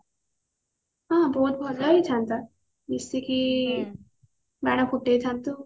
ହଁ ବହୁତ ଭଲ ହେଇଥାନ୍ତା ମିସିକି ବାଣ ଫୁଟେଇଥାନ୍ତୁ